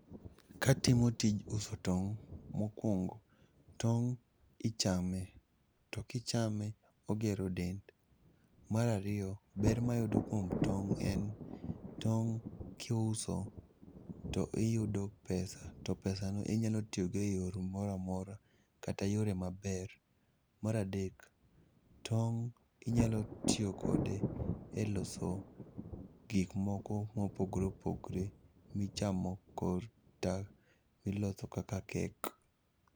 Katimo tij uso tong', mokwongo, tong' ichame to kichame ogero dend. Marariyo, ber mayudo kuom tong' en tong' kiuso to iyudo pesa to pesa no inyalo tiyogo e yor moramora kata yore maber. Maradek, tong' inyalo tiyo kode e loso gik moko mopogore opogre michamo kor ta, miloso kaka kek.